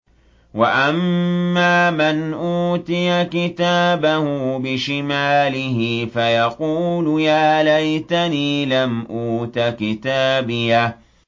وَأَمَّا مَنْ أُوتِيَ كِتَابَهُ بِشِمَالِهِ فَيَقُولُ يَا لَيْتَنِي لَمْ أُوتَ كِتَابِيَهْ